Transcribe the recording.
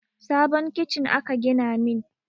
Sabon kicin aka gina min